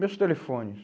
Meus telefones...